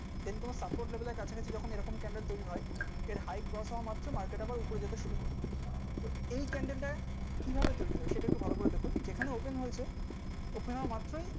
candle হয় candle তৈরি হয় এই candle টা ঠিক আছে সেটা ভালো করে দেখি ওখানে মাত্র